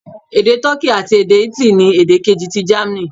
Èdè Toki àti Italy ni èdè kejì ti Germany.